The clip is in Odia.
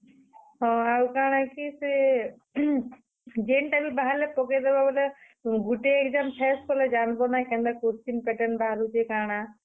ହଁ, ଆଉ କାଣା କି ସେ ଯେନ୍ ଟା ବି ବାହାରଲେ ପକେଇ ଦେବ ବେଲେ, ଗୁଟେ ଇଟା face କଲେ ଯାନବ ନାଁ, କେନ୍ତା question pattern ବାହାରୁଛେ କାଣା।